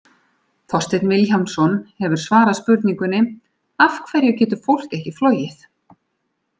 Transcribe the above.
Þorsteinn Vilhjálmsson hefur svarað spurningunni: Af hverju getur fólk ekki flogið?